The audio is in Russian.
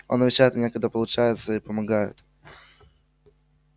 он навещает меня когда получается и помогает